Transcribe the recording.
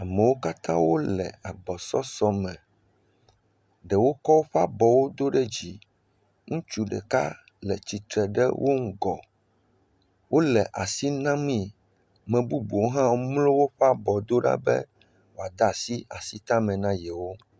Amewo katã wo le agbɔsɔsɔ me. Ɖewo kɔ woƒe abɔwo do ɖe dzi. Ŋutsu ɖeka le tsitre ɖe wo ŋgɔ. Wo le asi na mii. Ame bubuwo hã mlɔ woƒe abɔwo do ɖa be woade asi asitame na yewo.